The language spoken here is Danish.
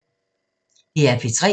DR P3